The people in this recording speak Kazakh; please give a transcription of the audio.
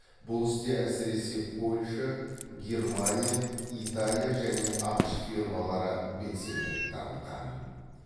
бұл істе әсіресе польша германия италия және ақш фирмалары белсенділік танытқан